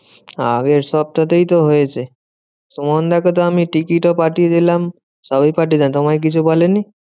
আগের সপ্তাতেই তো হয়েছে। সুমনদা কে তো আমি টিকিটও পাঠিয়ে দিলাম। সবই তোমায় কিছু বলেনি?